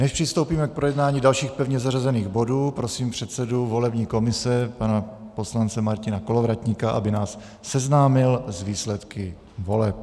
Než přistoupíme k projednání dalších pevně zařazených bodů, prosím předsedu volební komise pana poslance Martina Kolovratníka, aby nás seznámil s výsledky voleb.